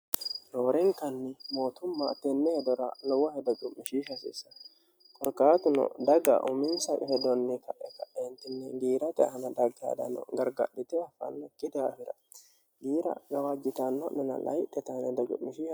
roorenkanni mootumma teenne hedora lowo hedo cumishiisha haseessa qorqaatuno dagga uminsa hedonni ta ekaeentinne giirate ana dhaggaadano gargadhite ofannakki daafira giira gawaajjutanno'nne